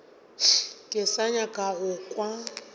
ke sa nyaka go kwa